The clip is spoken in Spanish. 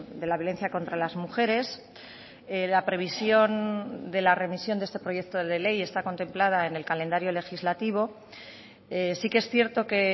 de la violencia contra las mujeres la previsión de la remisión de este proyecto de ley está contemplada en el calendario legislativo sí que es cierto que